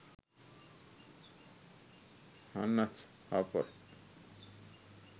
hannah harper